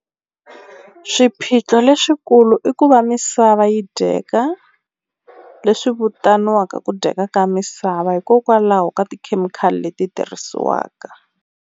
Ssiphiqo leswikulu i ku va misava yi dyeka leswi vitaniwaka ku dyeka ka misava hikokwalaho ka tikhemikhali leti tirhisiwaka.